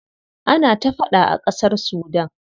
Ana ta faɗa a ƙasar Sudan.